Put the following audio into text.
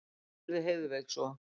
spurði Heiðveig svo.